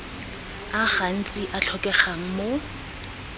a gantsi a tlhokegang mo